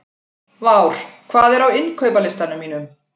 Vár, hvað er á innkaupalistanum mínum?